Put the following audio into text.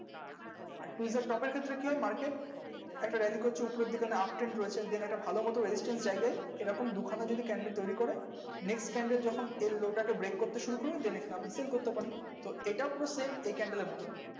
আর tweezer top এর ক্ষেত্রে কি হয় market একটা রিং really করছে উপরের দিকে uptrend রয়েছে then একটা ভালো মতো resistance জায়গায় এই রকম দুখানা যদি candle তৈরী করে next candle যখন এই low টাকে break করতে শুরু করে then এখানে আপনি same করতে পারেন তো এটা পুরো same এই candle এর মতোনি